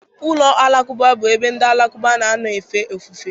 Ụlọ alakụba bụ ebe ndị Alakụba na-anọ efe ofufe